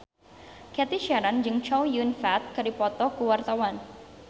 Cathy Sharon jeung Chow Yun Fat keur dipoto ku wartawan